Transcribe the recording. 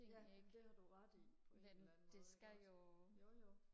ja det har du ret i på en eller anden måde ikke også jo jo